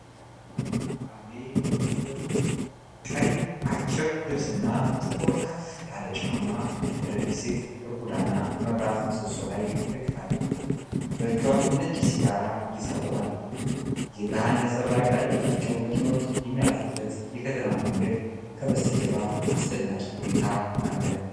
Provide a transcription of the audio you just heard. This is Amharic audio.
አቤት ውበት ፣ቀይ አጭር ልብስና ጥቁር ከፍ ያለ ጫማ ያደረገች ሴት በጎዳና መብራት ምሰሶ ላይ ትደገፋለች። በእጇ ነጭ ሲጋራ ይዛ ቆማለች ። የብርሃን ነጸብራቅ ያለባቸው መኪኖች የሚያልፉበት የከተማ መንገድ ከበስተጀርባ አስደናቂ ሁኔታ አለ።